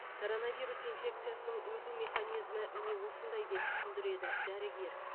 коронавирус инфекциясының өту механизмі міне осындай деп түсіндіреді дәрігер